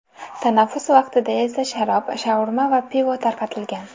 Tanaffus vaqtida esa sharob, shaurma va pivo tarqatilgan.